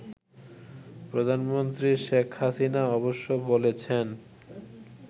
প্রধানমন্ত্রী শেখ হাসিনা অবশ্য বলেছেন